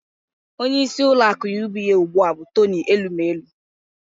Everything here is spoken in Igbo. Onyeisi ụlọaku UBA ụgbụa bụ Toni Elumelu